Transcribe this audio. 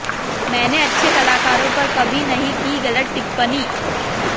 मैंने अच्छे कलाकारों पर कभी नहीं की गलत टिप्पणी